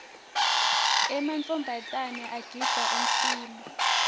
emantfombatana agindza ummiso